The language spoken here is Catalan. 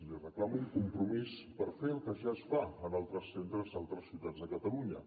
li reclamo un compromís per fer el que ja es fa en altres centres d’altres ciutats de catalunya